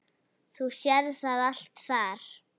Þú sérð það allt þar.